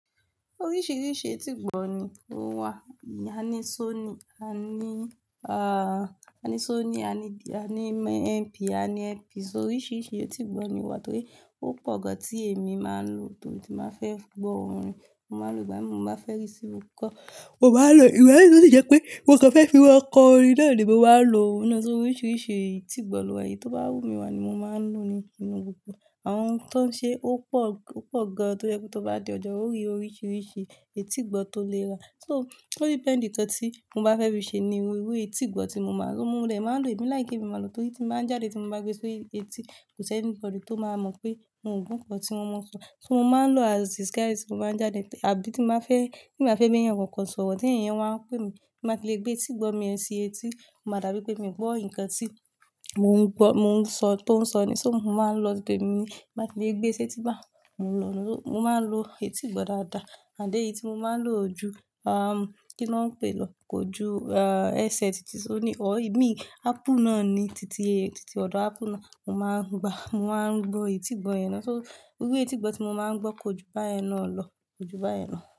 Oríṣìíríṣìí etígbọ̀ ni ó wà. A ní sóní, a ní, ah, a ní sóòní, a ní, a ní MP, a ní EP, so oríṣìíríṣìí etígbọ̀ ni ó wà torí ó pọ̀ gan tí èmi máa ń lò torí tí máa fẹ́ gbọ́ orin, mo máa ń lò ìgbà mìíràn bá fẹ́ rí sífu kọ̀ọ́, mo máa ń lò, ìgbà míì ó lè jẹ́ pé mo kàn fẹ́ fi máa kọ orin náà ni mo máa ń lo Ní oríṣìíríṣìí etíìgbọ́ ló wà, èyí tó bá wá wú mí wá ni mo máa ń lò nínú gbogbo ẹ̀. Àwọn tọ́n ń ṣeé, ó pọ̀, ó pọ̀ gan-an, tó jẹ́ pé tó o bá dé ọjà, oó rí oríṣìíríṣìí etíìgbọ́ tóo lè rà. So, ó depend nǹkan tí mo bá fẹ́ fi ṣe ni irú etíìgbọ́ tí mo máa ń rà, mo dẹ̀ máa ń lò, èmi like k'émi máa lòó torí tí ń bá ń jáde tí mo bá gbé sí etí, kò sí anybody tó máa mọ̀ pé mo ò gbọ́ nǹkan tí wọ́n máa ń sọ. So mo máa ń lò as disguise tí mo bá ń jáde àbí tí mo bá fẹ́, tí ǹ bá fẹ́ béèyàn kankan sọ̀rọ̀, tí ẹ̀èèyàn yẹn wá ń pè mí, tí n bá ti le gbé etíìgbọ́ mi yẹn sí etí, Ó máa dàbí pé miì gbọ́ nǹkan tí mò ń gbọ́, mò ń sọ tó ń sọ ni. So mo máa ń lọ ti tèmi ni, tí mo bá ti le gbé e sétí báì, mò ń lọ, mo máa ń lo etíìgbọ́ dáadáa. And then èyí tí mo máa ń lò ò ju, kí l'ọ́n ń pèé lọ? Kò jù, headset tìtì Sony or ìmíì, ápù náà ni titi ẹ̀, tìtì ọ̀dọ̀ ápù náà, mo máa ń gbà, mo máa ń gbọ́ etíìgbọ́ yẹn náà. So irú etíìgbọ́ tí mo máa ń gbọ́ kò jù báyẹn náà lọ, kò jù báyẹn lọ.